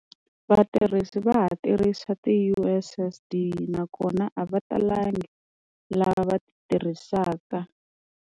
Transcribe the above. Vatirhisi va ha tirhisa ti-U_S_S_D nakona a va talanga lava va tirhisaka.